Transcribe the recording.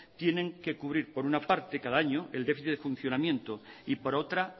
tienen que cubrir por una parte cada año el déficit de funcionamiento y por otra